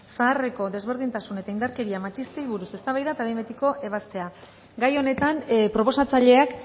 zeharreko desberdintasun eta indarkeria matxistei buruz eztabaida eta behin betiko ebazpena gai honetan proposatzaileak